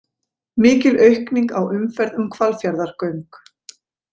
Mikil aukning á umferð um Hvalfjarðargöng